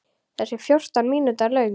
Þessi er fjórtán mínútna löng.